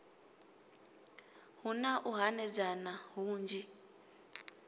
hu na u hanedzana hunzhi